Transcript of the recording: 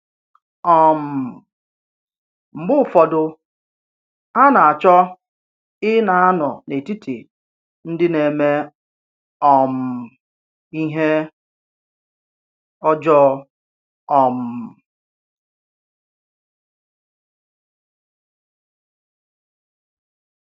um Mgbe ụfọdụ, hà nà-àchọ ì ná ànó n’etìtì ndì n’èmè um ìhè ọjọọ. um